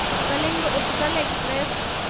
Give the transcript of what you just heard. Kalinga Utkal express